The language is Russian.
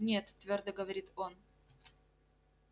нет твёрдо говорит он